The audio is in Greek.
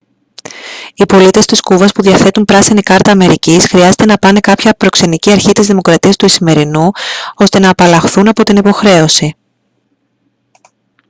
οι πολίτες της κούβας που διαθέτουν πράσινη κάρτας αμερικής χρειάζεται να πάνε κάποια προξενική αρχή της δημοκρατίας του ισημερινού ώστε να απαλλαχθούν από την υποχρέωση